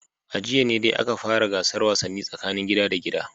A jiya ne dai aka fara gasar wasannin tsakanin gida da gida